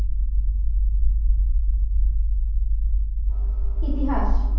ইতিহাস